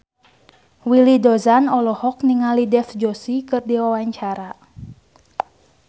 Willy Dozan olohok ningali Dev Joshi keur diwawancara